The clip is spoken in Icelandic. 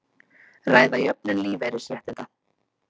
Ræða jöfnun lífeyrisréttinda